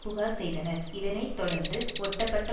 புகார் செய்தனர் இதனை தொடர்ந்து ஒட்டப்பட்ட